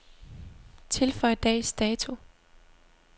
Tilføj dags dato.